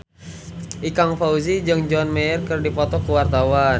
Ikang Fawzi jeung John Mayer keur dipoto ku wartawan